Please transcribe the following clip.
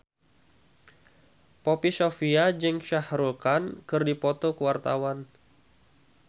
Poppy Sovia jeung Shah Rukh Khan keur dipoto ku wartawan